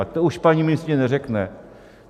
A to už paní ministryně neřekne.